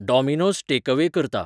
Domino's takeaway करता